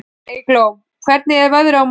Eygló, hvernig er veðrið á morgun?